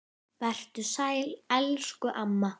Vertu sæl elsku amma.